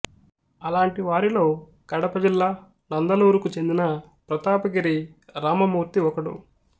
అలాంటి వారిలో కడప జిల్లా నందలూరుకు చెందిన ప్రతాపగిరి రామమూర్తి ఒకడు